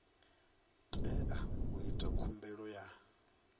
tea u ita khumbelo ya